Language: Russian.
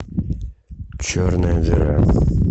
черная дыра